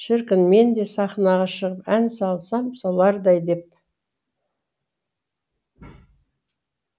шіркін менде сахнаға шығып ән салсам солардай деп